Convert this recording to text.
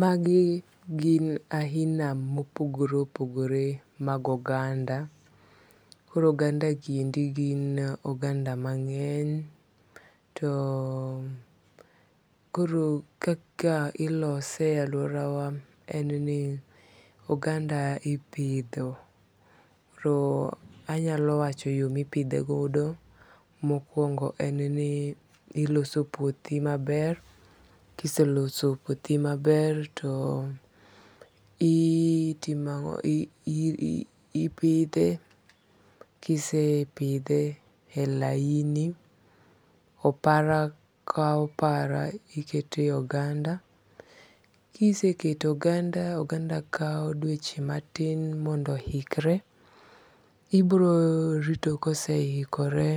Magi gin ahina mopogore opogore mag oganda. Koro oganda gi endi gin oganda mong'eny. To koro kaka ilose e aluora wa en ni oganda ipidho. Koro anyalo wacho yo mipidhe godo. Mokwongo en ni iloso puothi maber. Kiseloso puothi maber to itimang'o? Ipidhe. Kisepidhe e laini, opara ka opara ikete oganda. Kisekete oganda, oganda kaw dweche matin mondo ohikre. Ibiro rito kosehikore,